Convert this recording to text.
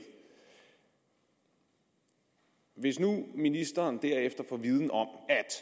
og hvis nu ministeren derefter får en viden om at